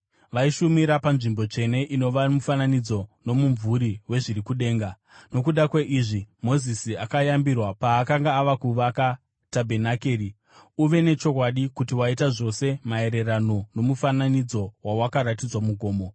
Vaishumira panzvimbo tsvene inova mufananidzo nomumvuri wezviri kudenga. Nokuda kweizvi Mozisi akayambirwa paakanga ava kuvaka tabhenakeri: “Uve nechokwadi kuti waita zvose maererano nomufananidzo wawakaratidzwa mugomo.”